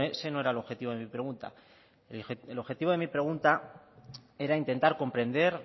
ese no era el objetivo de mi pregunta el objetivo de mi pregunta era intentar comprender